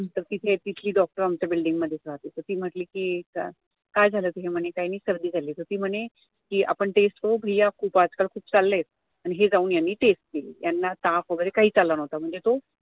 तर तिथे तिथली doctor आमच्या building मधेच राहाते तर ती म्हंटली कि एकदा काय झालं तर हे म्हणे काय नाही तर सर्दी झाली तर ते म्हणे कि आपण test करू भैय्या आजकाल खूप चाललेत तर हे जाऊन यांनी test केली त्यांना ताप वगैरे काहीच आला नव्हता म्हणजे तो